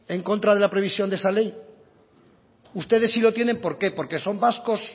en contra de la previsión de esa ley ustedes sí lo tienen por qué porque son vascos